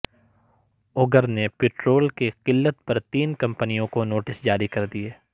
OGRA نے petrol کی قلت پر تین کمپنیوں کو نوٹس جاری کردیے